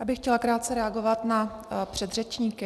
Já bych chtěla krátce reagovat na předřečníky.